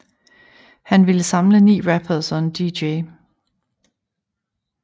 Han ville samle 9 rappers og en DJ